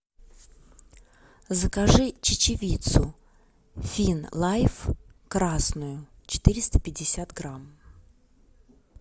закажи чечевицу фин лайф красную четыреста пятьдесят грамм